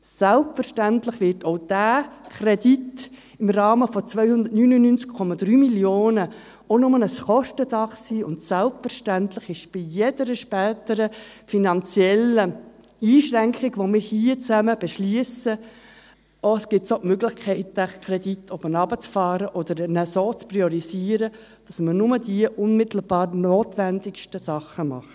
Selbstverständlich wird auch dieser Kredit im Rahmen von 299,3 Mio. Franken auch nur ein Kostendach sein, und selbstverständlich besteht bei jeder späteren finanziellen Einschränkung, welche wir hier zusammen beschliessen, die Möglichkeit, den Kredit hinunterzufahren oder ihn so zu priorisieren, dass man nur die unmittelbar notwendigsten Dinge macht.